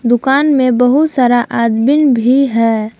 दुकान में बहुत सारा आदबीन भी है।